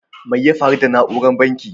Mai ya faru da nauran bankin?